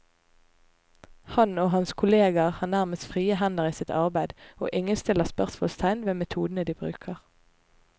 Han og hans kolleger har nærmest frie hender i sitt arbeid, og ingen stiller spørsmålstegn ved metodene de bruker.